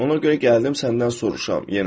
Ona görə gəldim səndən soruşam yenə.